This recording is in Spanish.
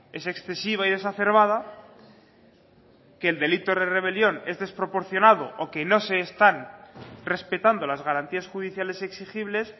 es excesiva y exacerbada que el delito de rebelión es desproporcionado o que no se están respetando las garantías judiciales exigibles